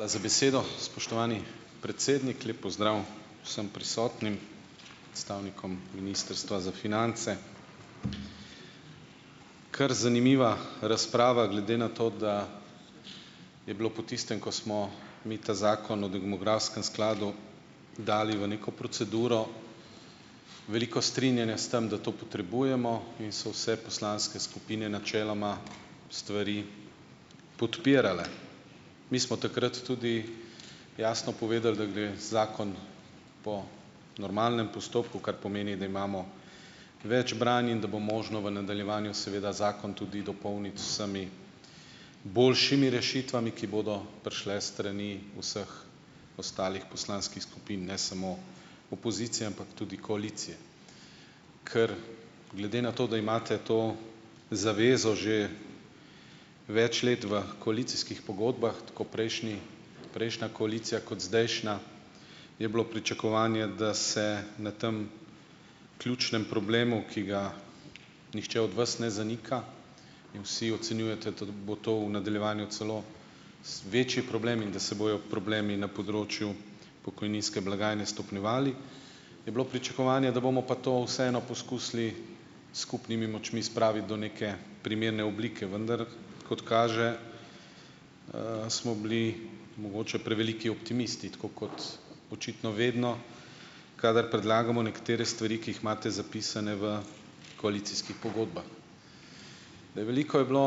Hvala za besedo, spoštovani predsednik, lep pozdrav vsem prisotnim predstavnikom ministrstva za finance. Kar zanimiva razprava glede na to, da je bilo po tistem, ko smo mi ta zakon o demografskem skladu dali v neko proceduro, veliko strinjanja s tem, da to potrebujemo, in so vse poslanske skupine načeloma stvari podpirale mi smo takrat tudi jasno povedali, da gre zakon po normalnem postopku, kar pomeni, da imamo več branj in da bo možno v nadaljevanju seveda zakon tudi dopolniti z boljšimi rešitvami, ki bodo prišle strani vseh ostalih poslanskih skupin, ne samo opozicije, ampak tudi koalicije, kar glede na to, da imate to zavezo že več let v koalicijskih pogodbah, tako prejšnji, prejšnja koalicija kot zdajšnja, je bilo pričakovanje, da se na tem ključnem problemu, ki ga nihče od vas ne zanika, in vsi ocenjujete bo to v nadaljevanju celo večji problem in da se bojo problemi na področju pokojninske blagajne stopnjevali, je bilo pričakovanje, da bomo pa to vseeno poskusili skupnimi močmi spraviti do neke primerne oblike, vendar kot kaže, smo bili mogoče preveliki optimisti, tako kot očitno vedno, kadar predlagamo nekatere stvari, ki jih imate zapisane v koalicijskih pogodbah, veliko je bilo,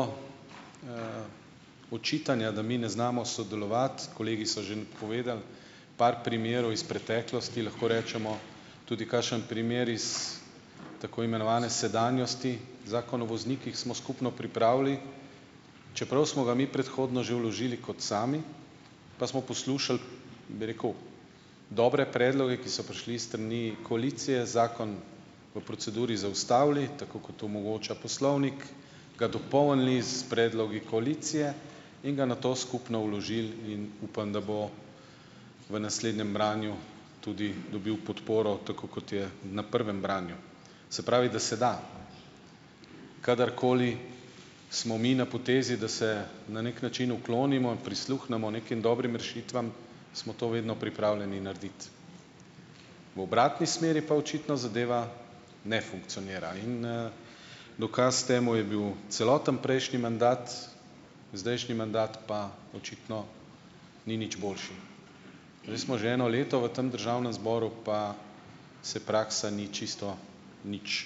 očitanja, da mi ne znamo sodelovati, kolegi so že povedali par primerov iz preteklosti, lahko rečemo tudi kakšen primer iz tako imenovane sedanjosti, zakon o voznikih smo skupno pripravili, čeprav smo ga mi predhodno že vložili, kot sami pa smo poslušali, bi rekel dobre predloge, ki so prišli s strani koalicije, zakon v proceduri zaustavili tako, kot omogoča poslovnik, ga dopolnili s predlogi koalicije in ga nato skupno vložili in upam, da bo v naslednjem branju tudi dobil podporo, tako kot je na prvem branju, se pravi, da se da, kadar koli smo mi na potezi, da se na neki način uklonimo, prisluhnemo nekim dobrim rešitvam, smo to vedno pripravljeni narediti, v obratni smeri pa očitno zadeva ne funkcionira in, dokaz temu je bil celoten prejšnji mandat, zdajšnji mandat pa očitno ni nič boljši, zdaj smo že eno leto v tem državnem zboru pa se praksa ni čisto nič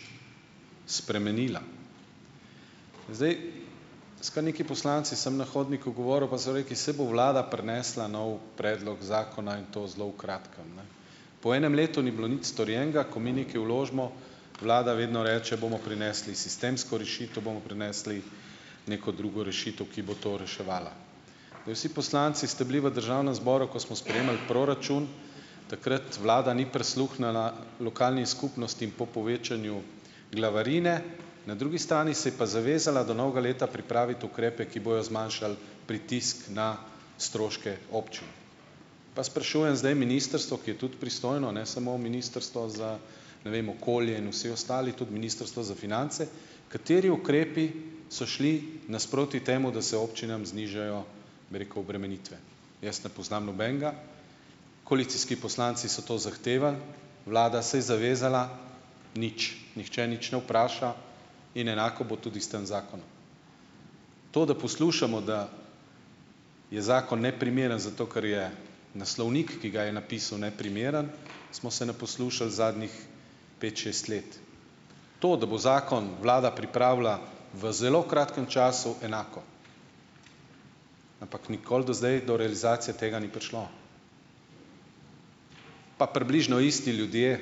spremenila, zdaj, s kar nekaj poslanci sem na hodniku govoril, pa so rekli: "Saj bo vlada prinesla nov predlog zakona in to zelo v kratkem." Po enem letu ni bilo nič storjenega, ko mi nekaj vložimo, vlada vedno reče: "Bomo prinesli sistemsko rešitev, bomo prinesli neko drugo rešitev, ki bo to reševala." Vsi poslanci ste bili v državnem zboru, ko smo sprejemali proračun, takrat vlada ni prisluhnila lokalni skupnosti po povečanju glavarine, na drugi strani se je pa zavezala do novega leta pripraviti ukrepe, ki bojo zmanjšali, pritisk na stroške občin. Pa sprašujem zdaj ministrstvo, ki je tudi pristojno, ne samo ministrstvo za, ne vem, okolje in vsi ostali, tudi ministrstvo za finance, kateri ukrepi so šli nasproti temu, da se občinam znižajo, bi rekel, obremenitve, jaz ne poznam nobenega, koalicijski poslanci so to zahtevali, vlada se je zavezala, nič nihče nič ne vpraša in enako bo tudi s tam zakonom, to, da poslušamo, da je zakon neprimeren zato, ker je naslovnik, ki ga je napisal, neprimeren, smo se naposlušali zadnjih pet šest let, to, da bo zakon vlada pripravila v zelo kratkem času, enako, ampak nikoli do zdaj do realizacije tega ni prišlo, pa približno isti ljudje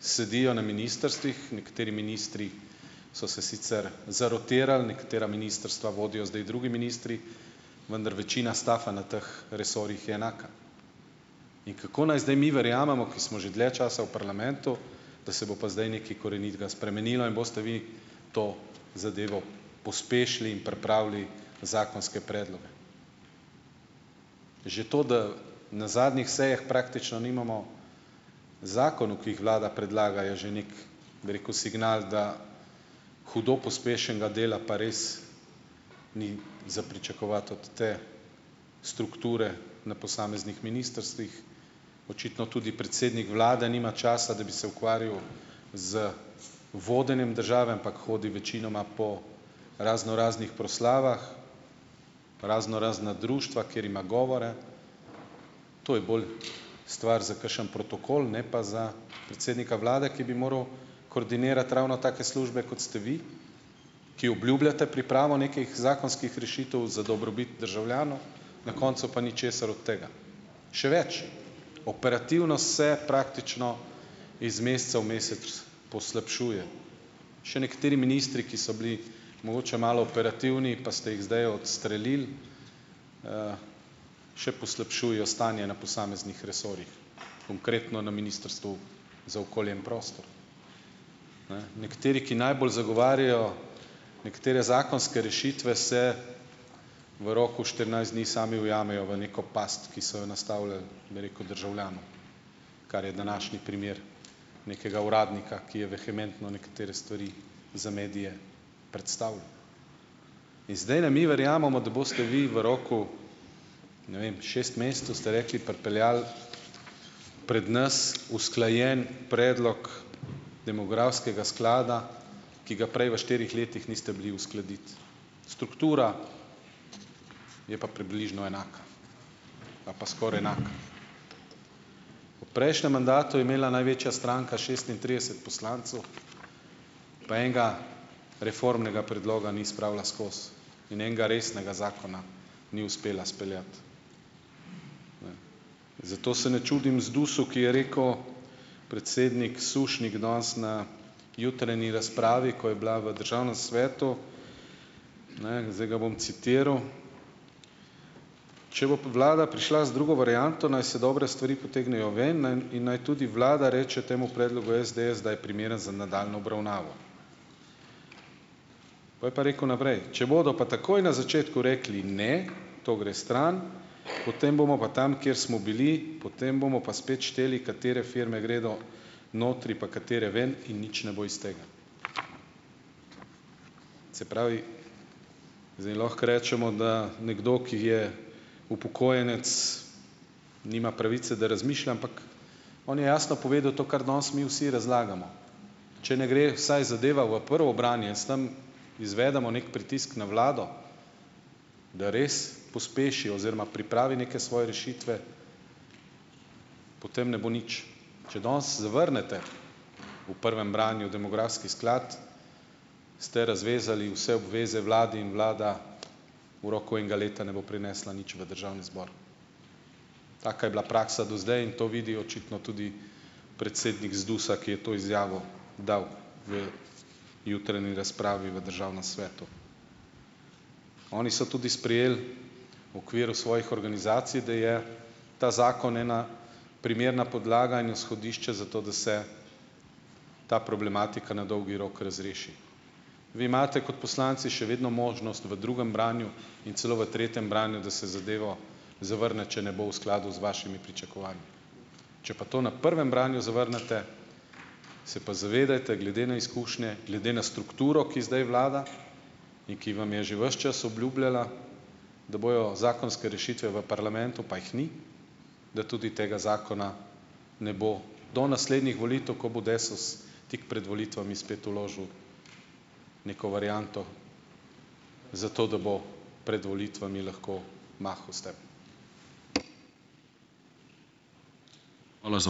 sedijo na ministrstvih, nekateri ministri so se sicer zarotirali, nekatera ministrstva vodijo zdaj drugi ministri, vendar večina staffa na teh resorjih je enaka, in kako naj zdaj mi verjamemo, ki smo že dlje časa v parlamentu, da se bo pa zdaj nekaj korenitega spremenilo in boste vi to zadevo pospešili in pripravili zakonske predloge. Že to, da na zadnjih sejah praktično nimamo zakonov, ki jih vlada predlaga, je že neki, bi rekel, signal, da hudo pospešenega dela pa res ni za pričakovati od te strukture na posameznih ministrstvih, očitno tudi predsednik vlade nima časa, da bi se ukvarjal z vodenjem države, ampak hodi večinoma po raznoraznih proslavah, raznorazna društva, kjer ima govore, to je bolj stvar za kakšen protokol, ne pa za predsednika vlade, ki bi moral koordinirati ravno take službe, kot ste vi, ki obljubljate pripravo nekih zakonskih rešitev za dobrobit državljanov, na koncu pa ničesar od tega, še več, operativno se praktično iz meseca v mesec poslabšuje še nekateri ministri, ki so bili mogoče malo operativni, pa ste jih zdaj odstrelili, še poslabšuje stanje na posameznih resorjih, konkretno na ministrstvu za okolje in prostor, ne, nekateri, ki najbolj zagovarjajo nekatere zakonske rešitve, se v roku štirinajst dni sami ujamejo v neko past, ki so jo nastavljali, bi rekel, državljanom, kar je današnji primer nekega uradnika, ki je vehementno nekatere stvari za medije predstavljal, in zdaj naj mi verjamemo, da boste vi v roku, ne vem, šest mesecev, ste rekli, pripeljali pred nas usklajen predlog demografskega sklada, ki ga prej v štirih letih niste bili uskladiti, struktura je pa približno enaka ali pa skoraj enaka, prejšnjem mandatu je imela največja stranka šestintrideset poslancev, pa enega reformnega predloga ni spravila skozi in enega resnega zakona ni uspela izpeljati, zato se ne čudim ZDUS-u, ki je rekel predsednik Sušnik danes na jutranji razpravi, ko je bila v državnem svetu, ne, zdaj ga bom citiral: "Če bo pa vlada prišla z drugo varianto, naj se dobre stvari potegnejo ven in naj tudi vlada reče temu predlogu SDS, da je primeren za nadaljnjo obravnavo." Pol je pa rekel naprej: "Če bodo pa takoj na začetku rekli: "Ne, to gre stran," potem bomo pa tam, kjer smo bili, potem bomo pa spet šteli, katere firme gredo notri pa katere ven, in nič ne bo iz tega." Se pravi, zdaj lahko rečemo, da nekdo, ki je upokojenec, nima pravice, da razmišlja, ampak on je jasno povedal to, kar danes mi vsi razlagamo, če ne gre vsaj zadeva v prvo branje, samo izvedemo neki pritisk na vlado, da res pospeši oziroma pripravi neke svoje rešitve, potem ne bo nič, če danes zavrnete v prvem branju demografski sklad, ste razvezali vse obveze vlade in vlada v roku enega leta ne bo prinesla nič v državni zbor, taka je bila praksa to zdaj in to vidi očitno tudi predsednik ZDUS-a, ki je to izjavo dal v jutranji razpravi v državnem svetu, oni so tudi sprejeli okviru svojih organizacij, da je ta zakon ena primerna podlaga in izhodišče za to, da se ta problematika na dolgi rok razreši, vi imate kot poslanci še vedno možnost v drugem branju in celo v tretjem branju, da se zadevo zavrne, če ne bo v skladu z vašimi pričakovanji, če pa to na prvem branju zavrnete, se pa zavedajte glede na izkušnje, glede na strukturo, ki zdaj vlada in ki vam je že ves čas obljubljala, da bojo zakonske rešitve v parlamentu, pa jih ni, da tudi tega zakona ne bo do naslednjih volitev, ko bo Desus tik pred volitvami spet vložil neko varianto, zato da bo pred volitvami lahko mahal s tem. Hvala za ...